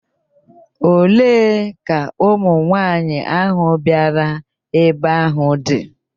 Olee ka ụmụnwaanyị ahụ bịara ebe ahụ dị?